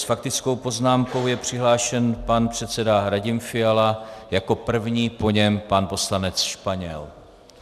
S faktickou poznámkou je přihlášen pan předseda Radim Fiala jako první, po něm pan poslanec Španěl.